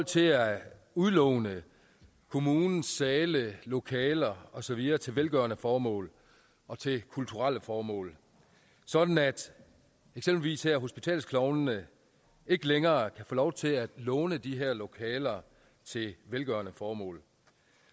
til at udlåne kommunens sale lokaler og så videre til velgørende formål og til kulturelle formål sådan at eksempelvis her hospitalsklovnene ikke længere kan få lov til at låne de her lokaler til velgørende formål